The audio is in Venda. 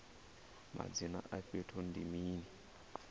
madzina a fhethu ndi mini